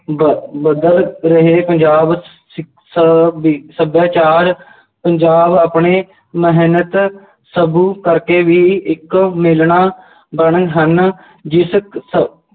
ਬ~ ਬਦਲ ਰਹੇ ਪੰਜਾਬ ਸ~ ਸੱਭਿਆਚਾਰ ਪੰਜਾਬ ਆਪਣੇ ਮਿਹਨਤ ਕਰਕੇ ਵੀ ਇੱਕ ਬਣੇ ਹਨ ਜਿਸ ਅਹ